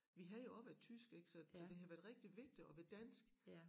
Vi har jo også været tysk ik så så det har været rigtig vigtigt at være dansk